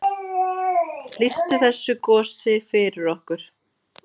Lýstu þessu gosi fyrir okkur.